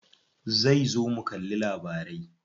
Zai zo mu kalli labarai.